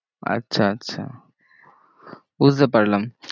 আচ্ছা আচ্ছা বুঝতে পারলাম।